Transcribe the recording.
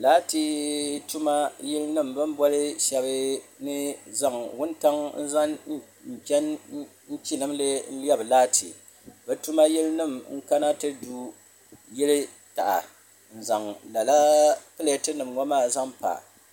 Laati tuma yili nima bini boli sheba ni zaŋ wuntaŋa n chen chilimli lebi laati bɛ tuma yili nima n kana ti du yili taha n zaŋ lala pileti nima ŋɔ maa zaŋ pa.